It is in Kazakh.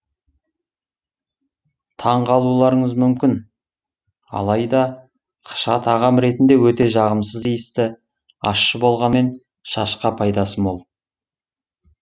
таңғалуларыңыз мүмкін алайда қыша тағам ретінде өте жағымсыз иісті ащы болғанымен шашқа пайдасы мол